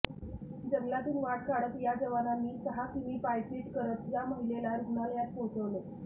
जंगलातून वाट काढत या जवानांनी सहा किमी पायपीट करत या महिलेला रुग्णालयात पोहचवले